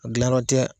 A gilan yɔrɔ tɛ